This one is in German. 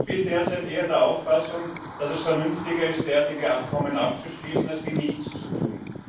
Ich bin derzeit eher der Auffassung, dass es vernünftiger ist, derartige Abkommen abzuschließen, als nichts zu tun.